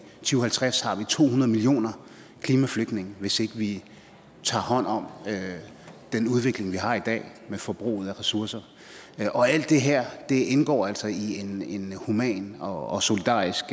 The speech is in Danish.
to hundrede millioner klimaflygtninge hvis ikke vi tager hånd om den udvikling vi har i dag med forbruget af ressourcer og alt det her indgår altså i en human og og solidarisk